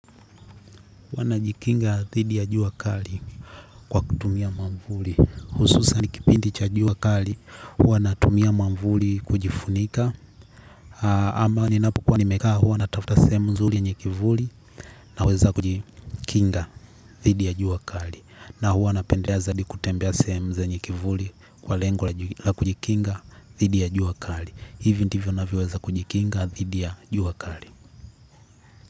Hua najikinga thidi ya jua kali kwa kutumia mwamvuli. Hususani kipindi cha jua kali, huwa natumia mwamvuli kujifunika. Ama ninapokua nimekaa, huwa natafuta sehemu nzuri yenye kivuli naweza kujikinga thidi ya jua kali. Na huwa na pendelea zaidi kutembea sehemu zenye kivuli kwa lengo la kujikinga thidi ya jua kali. Hivi ndivyo navyo weza kujikinga thidi ya jua kali.